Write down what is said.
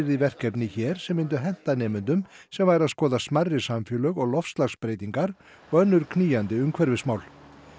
í verkefni hér sem myndu henta nemendum sem væru að skoða smærri samfélög og loftslagsbreytingar og önnur knýjandi umhverfismál